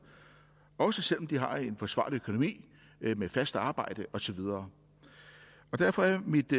også selv om de har en forsvarlig økonomi med fast arbejde og så videre derfor er mit